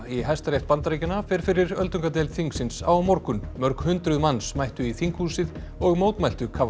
í Hæstarétt Bandaríkjanna fer fyrir öldungadeild þingsins á morgun mörg hundruð manns mættu í þinghúsið og mótmæltu